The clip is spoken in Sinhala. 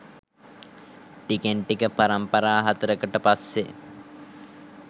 ටිකෙන් ටික පරම්පරා හතරකට පස්සේ